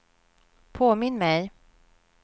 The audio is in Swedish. påminn mig